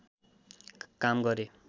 काम गरे